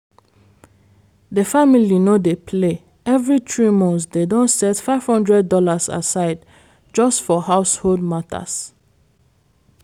de family no dey play every three months dem don set five hundred dollars aside just for household matters.